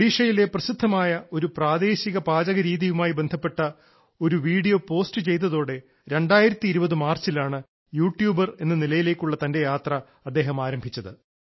ഒഡിഷയിലെ പ്രസിദ്ധമായ ഒരു പ്രാദേശിക പാചകരീതിയുമായി ബന്ധപ്പെട്ട ഒരു വീഡിയോ പോസ്റ്റ് ചെയ്തതോടെ 2020 മാർച്ചിലാണ് യൂട്യൂബർ എന്ന നിലയിലേക്കുള്ള തന്റെ യാത്ര അദ്ദേഹം ആരംഭിച്ചത്